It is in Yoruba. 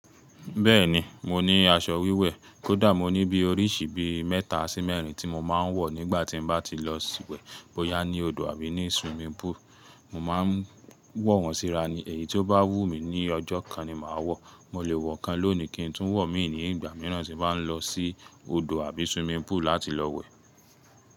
Bẹ́ẹ̀ni, mo ní aṣọ wíwẹ̀. Kódà mo ní bí oríṣi bí mẹ́ta sí mẹ́rin tí mo máa ń wọ̀ nígbà tí mo bá ti lọ sí wẹ̀ bóyá ní odò àbí ní swimming pool. Mo máa ń wọ̀ wọ́n síra ni. Èyí tó bá wù mí ní ọjọ́ kan ni màá wọ̀. Mo lè wọ̀ kan lónìí kín n tún wọ̀ míì ní ìgbà mìíràn tí mo bá ń lọ sí odò àbí swimming pool láti lọ wẹ̀.